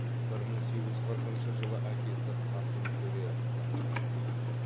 бір мың сегіз жүз қырқыншы жылы әкесі қасым төре қаза тапты